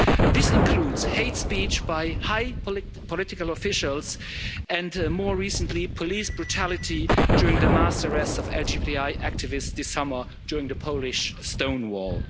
This includes hate speech by high political officials and, more recently, police brutality during the mass arrests of LGBTI activists this summer during the Polish Stonewall'.